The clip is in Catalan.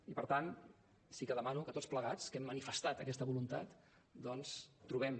i per tant sí que demano que tots plegats que hem manifestat aquesta voluntat doncs trobem